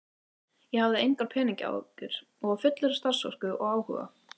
Ég hafði engar peningaáhyggjur og var fullur af starfsorku og áhuga.